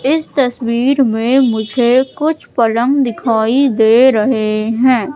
इस तस्वीर में मुझे कुछ पलंग दिखाई दे रहे हैं।